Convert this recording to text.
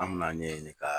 An me n'a ɲɛɲini ka